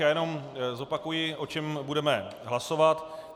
Já jen zopakuji, o čem budeme hlasovat.